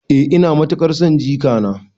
Eh ina matuƙar son jikana.